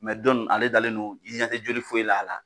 Mɛ dɔnu ale dalen don i ɲɛ te joli foyi la a la